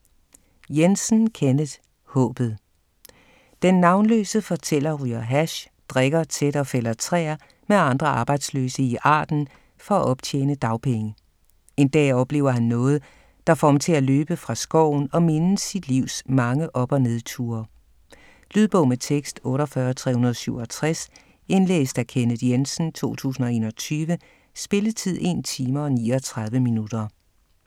Jensen, Kenneth: Håbet Den navnløse fortæller ryger hash, drikker tæt og fælder træer med andre arbejdsløse i Arden for at optjene dagpenge. En dag oplever han noget, der får ham til at løbe fra skoven og mindes sit livs mange op- og nedture. Lydbog med tekst 48367 Indlæst af Kenneth Jensen, 2021. Spilletid: 1 time, 39 minutter.